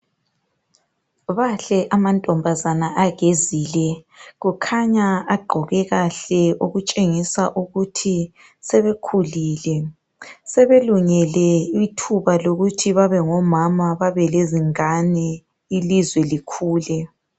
Bahle amantombazana agezile, kukhanya agqoke kahle, okutshengisa ukuthi sebekhulile, sebelungele ithuba lokuthi babengomama, babelezingane ilizwe likhule.